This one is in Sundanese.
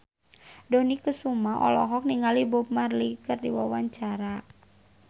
Dony Kesuma olohok ningali Bob Marley keur diwawancara